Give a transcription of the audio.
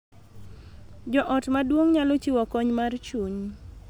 Jo ot maduong� nyalo chiwo kony mar chuny